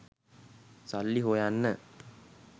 සල්ලි හොයන්න